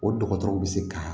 O dɔgɔtɔrɔw bɛ se ka